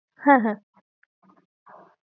হ্যাঁ হ্যাঁ